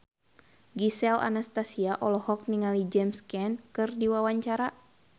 Gisel Anastasia olohok ningali James Caan keur diwawancara